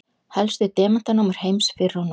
Helstu demantanámur heims fyrr og nú.